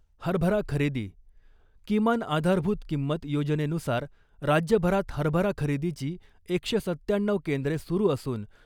हरभरा खरेदी किमान आधारभूत किंमत योजनेनुसार राज्यभरात हरभरा खरेदीची एकशे सत्त्याण्णऊ केंद्रे सुरू असुन .